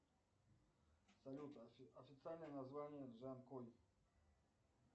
салют официальное название джанкой